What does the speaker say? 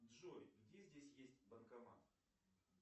джой где здесь есть банкомат